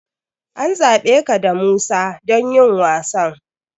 An zaɓe ka da Musa don yin wasan.